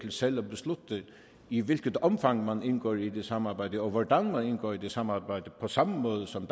selv kan beslutte i hvilket omfang man indgår i det samarbejde og hvordan man indgår i det samarbejde på samme måde som